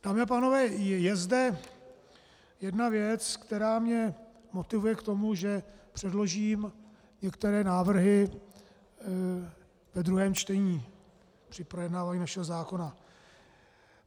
Dámy a pánové, je zde jedna věc, která mě motivuje k tomu, že předložím některé návrhy ve druhém čtení při projednávání našeho zákona.